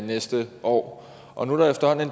næste år